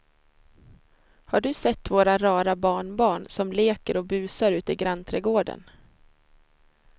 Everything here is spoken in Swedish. Har du sett våra rara barnbarn som leker och busar ute i grannträdgården!